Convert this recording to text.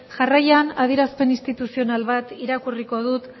jarraian adierazpen instituzional bat irakurriko dut